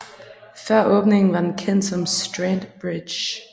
Før åbningen var den kendt som Strand Bridge